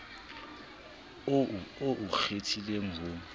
oo o o kgethileng ho